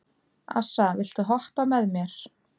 Assa, viltu hoppa með mér?